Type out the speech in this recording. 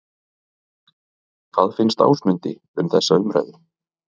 Hvað finnst Ásmundi um þessa umræðu?